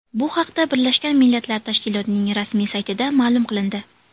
Bu haqda Birlashgan Millatlar Tashkilotining rasmiy saytida ma’lum qilindi .